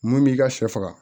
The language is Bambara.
Mun b'i ka sɛ faga